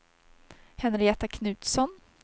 Henrietta Knutsson